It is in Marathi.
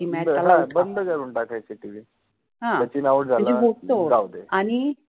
match आता, बंद करुन टाकायचे TV, हा सचिन OUT झाला जाउ दे